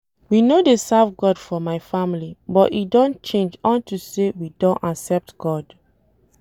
We no dey serve God for my family but e don change unto say we don accept God